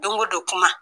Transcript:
Don o don kuma